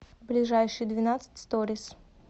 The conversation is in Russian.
ближайший двенадцать сториз